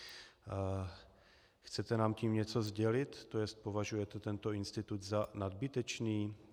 Chcete nám tím něco sdělit, to jest považujete tento institut za nadbytečný?